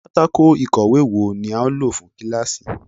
Pátáko ikòwe wo ni a yoo lo fun kilasi?